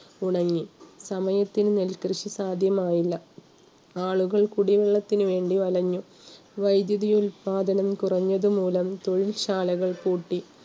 ഉണങ്ങി. സമയത്തിന് നെൽകൃഷി സാധ്യമായില്ല. ആളുകൾ കുടിവെള്ളത്തിനു വേണ്ടി വലഞ്ഞു. വൈദ്യുതി ഉല്പാദനം കുറഞ്ഞതുമൂലം തൊഴിൽ ശാലകൾ പൂട്ടി